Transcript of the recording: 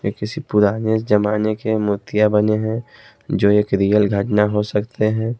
ये किसी पुराने जमाने के मूर्तियां बने हैं जो एक रियल घटना हो सकते हैं।